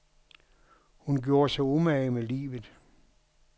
Hun gjorde sig umage med livet.